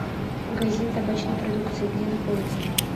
магазин табачной продукции где находится